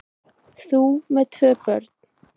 Þú með tvö börn!